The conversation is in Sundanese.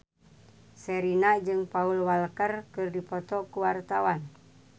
Sherina jeung Paul Walker keur dipoto ku wartawan